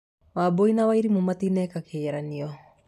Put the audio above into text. Wambũi na wairimũ matineka kĩgeranio.